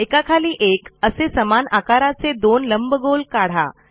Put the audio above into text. एकाखाली एक असे समान आकाराचे दोन लंबगोल काढा